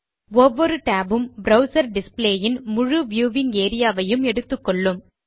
ஒவ்வொரு tab உம் browser display ன் முழு வியூவிங் ஏரியா வையும் எடுத்துக்கொள்ளும்